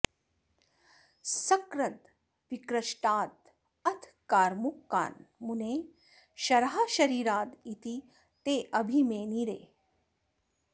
सकृद् विकृष्टाद् अथ कार्मुकान् मुनेः शराः शरीराद् इति तेऽभिमेनिरे